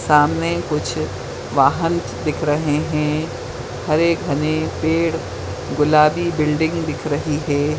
सामने कुछ वाहंस दिखाई दे रहे है हरे घने पेड़ गुलाबी बिल्डिंग दिखा रही हैं।